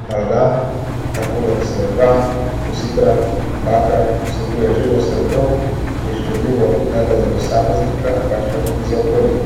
Amalgam, ta poleg srebra, kositra, bakra vsebuje živo srebro, ki je škodljiv ne le za posameznika pač pa tudi za okolje,